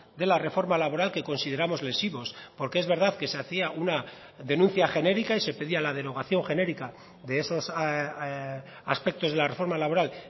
de la reforma laboral que consideramos lesivos porque es verdad que se hacía una denuncia genérica y se pedía la derogación genérica de esos aspectos de la reforma laboral